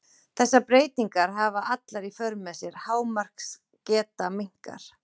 þessar breytingar hafa allar í för með sér að hámarksgeta minnkar